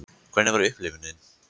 Hvernig var upplifunin?